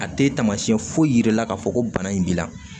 A tɛ taamasiyɛn foyi yir'i la k'a fɔ ko bana in b'i la